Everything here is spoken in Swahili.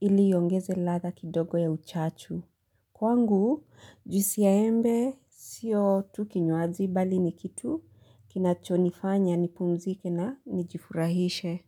ili iongeze ladha kidogo ya uchachu. Kwangu, juisi ya embe sio tu kinywaji bali ni kitu kinachonifanya nipumzike na nijifurahishe.